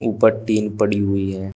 ऊपर टीन पड़ी हुई है।